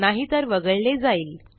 नाहीतर वगळले जाईल